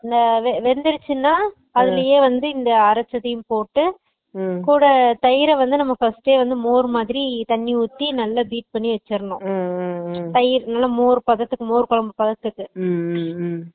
இந்த வெந்துருச்சுனா அதுலையே இந்த அறச்சதையும் போட்டு கூட தயிர வந்து first டே நம்ம மோர் மாதிரி தண்ணி ஊத்தி நல்ல deep பண்ணி வெச்சரனும் தயிர் நல்ல மோர் பதத்துக்கு நல்ல மோர் கொழம்பு பதத்துக்கு